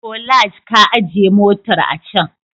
Bolaj ka ajiye motar a can.